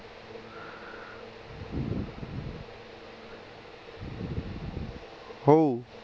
ਹੋਊ